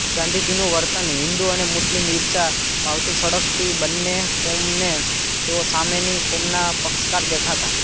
ગાંધીજીનું વર્તન હિન્દુ અને મુસ્લિમ ઈર્ષા ભાવથી સળગતી બન્ને કોમને તેઓ સામેની કોમના પક્ષકાર દેખાતા